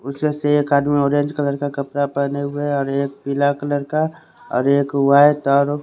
उसे से एक आदमी ऑरेंज कलर का कपडा पहने हुए है और एक पिला कलर का ओर एक वाइट और --